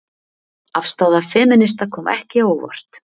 Afstaða femínista kom ekki á óvart